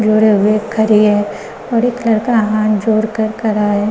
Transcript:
जोड़े हुए खरी है और एक लड़का हाथ जोड़ कर खरा है।